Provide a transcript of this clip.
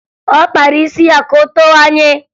Ọ kpara isi ya ka o towanye